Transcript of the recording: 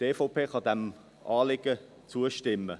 Die EVP kann diesem Anliegen zustimmen.